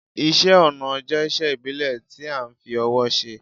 Isẹ́ ọnà jẹ́isé ìbílẹ̀ ti a n fi owó se